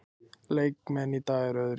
Leikmennirnir í dag eru öðruvísi.